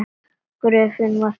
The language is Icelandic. Gröfin var tóm.